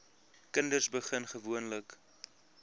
kinders begin gewoonlik